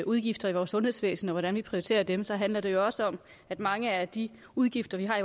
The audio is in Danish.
udgifter i vores sundhedsvæsen og om hvordan vi prioriterer dem så handler det jo også om at mange af de udgifter vi har